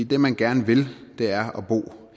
det man gerne vil er at bo